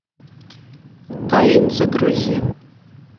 каин загрузи